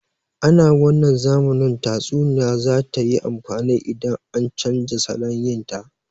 Ana wannan zamanin tatsuniya za tayi amfani idan an canja salon yin ta